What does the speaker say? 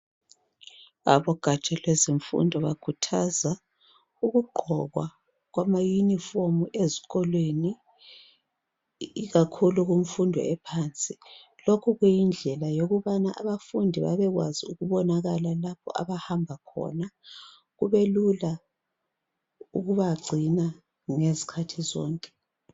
Abogatsha lwezemfundo bakhuthaza ukugqokwa kwamayunifomu ezikolweni ikakhulu kumfundo ephansi. Lokhu kuyindlela yokubana abafundi babekwazi ukubonakala lapho abahamba khona. Kubelula ukubagcina ngezikhathi zonke.